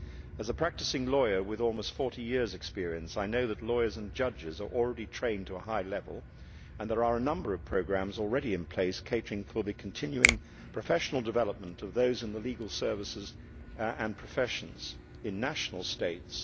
As a practising lawyer with almost 40 years' experience, I know that lawyers and judges are already trained to a high level and there are a number of programmes already in place catering for the continuing professional development of those in the legal services and professions in national states.